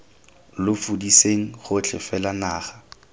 lo fudiseng gotlhe fela naga